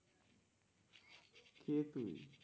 কে তুই?